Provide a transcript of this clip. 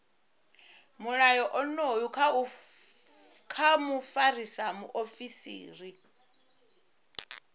mulayo onoyu kha mufarisa muofisiri